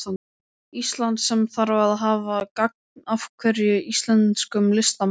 Íslands, sem þarf að hafa gagn af hverjum íslenskum listamanni.